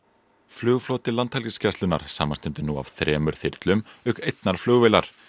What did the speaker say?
flugfloti Landhelgisgæslunnar samanstendur nú af þremur þyrlum auk einnar flugvélar